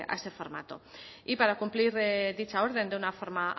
a ese formato y para cumplir dicha orden de una forma